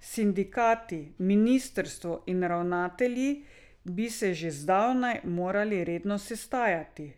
Sindikati, ministrstvo in ravnatelji bi se že zdavnaj morali redno sestajati.